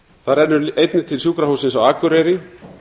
það rennur einnig til sjúkrahússins á akureyri